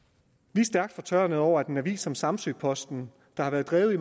vi er stærkt fortørnede over at en avis som samsø posten der har været drevet i